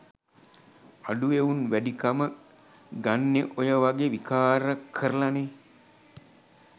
අඩු එවුන් වැඩිකම ගන්නෙ ඔය වගෙ විකාර කරලනෙ